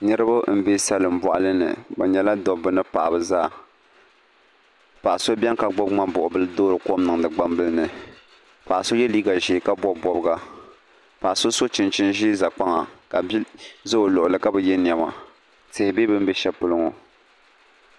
Niraba n bɛ salin boɣali ni bi nyɛla dabba ni paɣaba zaa Paɣa so biɛni ka gbubi ŋmani buɣu bili toori kom niŋdi gbambili ni Paɣa so yɛ liiga ʒiɛ ka bob bobga paɣa so so chinchin ʒiɛ ʒɛ kpaŋa ka bia ʒɛ o luɣuli ka bi yɛ niɛma tihi bɛ bini bɛ shɛli polo ŋo